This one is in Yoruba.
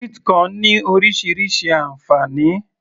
sweet corn ní orísirísi ànfàní